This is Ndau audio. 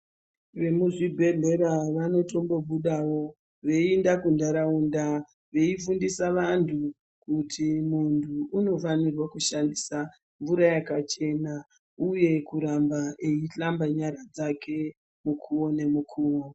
Vemuzvibhedhlera vanotombobudawo veienda kuntaraunda veifundisa vantu kuti muntu unofairwe kushandisa mvura yakachena uye kuramba eihlamba nyara dzake mukuwo nemukuwo.